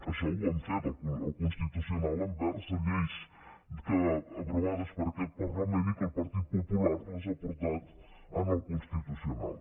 això ho han fet al constitucional amb lleis aprovades per aquest parlament i que el partit popular ha portat al constitucional